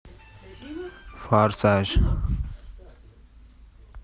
форсаж